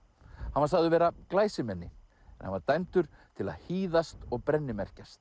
hann var sagður vera glæsimenni en hann var dæmdur til að hýðast og